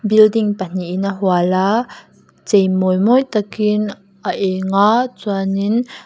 building pahnihin a hual a cheimawi mawi takin a eng a chuanin.